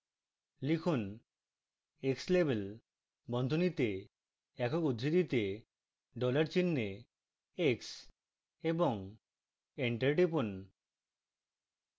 লিখুন: xlabel বন্ধনীতে একক উদ্ধৃতিতে dollar চিহ্নে x এবং enter টিপুন